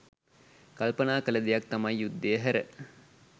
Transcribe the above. කල්පනා කළ දෙයක් තමයි යුද්ධය හැර